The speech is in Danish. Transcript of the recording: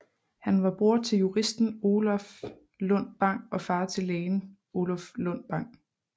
Han var bror til juristen Oluf Lundt Bang og far til lægen Oluf Lundt Bang